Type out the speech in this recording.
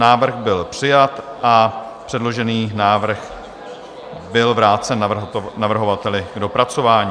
Návrh byl přijat a předložený návrh byl vrácen navrhovateli k dopracování.